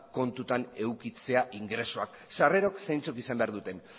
kontuan edukitzea ingresoak sarrerak zeintzuk izan behar duten